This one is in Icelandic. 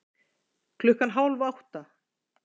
Klukkan hálf átta